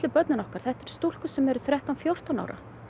börnin okkar þetta eru stúlkur sem eru þrettán fjórtán ára